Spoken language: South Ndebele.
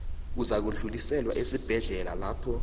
uzakudluliselwa esibhedlela lapho